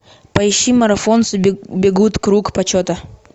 поищи марафонцы бегут круг почета